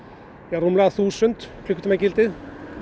rúmlega þúsund klukkutíma gildið